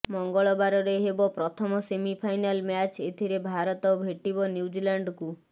ମଙ୍ଗଳବାର ରେ ହେବ ପ୍ରଥମ ସେମିଫାଇନାଲ୍ ମ୍ୟାଚ୍ ଏଥିରେ ଭାରତ ଭେଟିବ ନ୍ୟୁଜିଲାଣ୍ଡକୁ